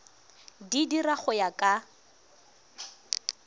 di dira go ya ka